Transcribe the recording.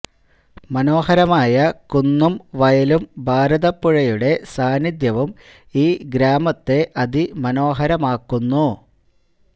മനോഹരമായ കുന്നും വയലും ഭാരതപ്പുഴയുടെ സാന്നിദ്ധ്യവും ഈ ഗ്രാമത്തെ അതി മനോഹരമാക്കുന്നു